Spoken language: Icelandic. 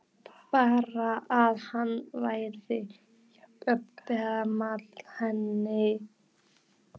Bara að hann væri jafngamall henni!